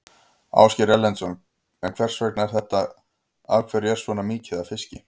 Ásgeir Erlendsson: En hvers vegna er þetta, af hverju er svona mikið af fiski?